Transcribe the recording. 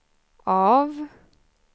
av